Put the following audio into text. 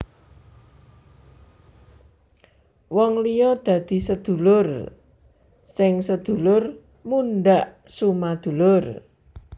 Wong liya dadi sedulur sing sedulur mundhak sumadulur